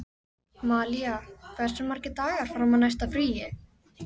Malía, hversu margir dagar fram að næsta fríi?